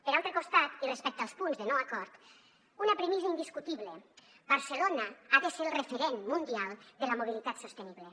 per altre costat i respecte als punts de no acord una premissa indiscutible barcelona ha de ser el referent mundial de la mobilitat sostenible